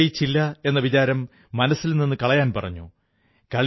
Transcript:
നിങ്ങൾ വിജയിച്ചില്ല എന്ന വിചാരം മനസ്സിൽനിന്നു കളയാൻ പറഞ്ഞു